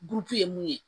Gurupu ye mun ye